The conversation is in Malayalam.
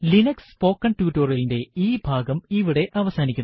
ലിനക്സ് സ്പോക്കണ് ടുട്ടോറിയലിന്റെ ഈ ഭാഗം ഇവിടെ അവസാനിക്കുന്നു